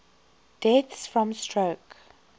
deaths from stroke